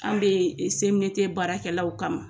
An bɛ yen CMDT baarakɛlaw kama.